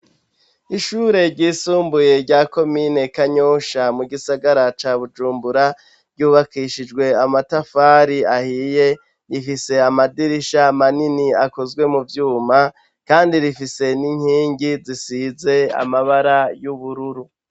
Ishure ryisumbuye rya Komine Kanyosha mu gisagara ca Bujumbura ryubakishijwe amatafari ahiye, rifise amadirisha manini akozwe mu vyuma, kandi rifise n'inkingi zisize amabara y'ubururu.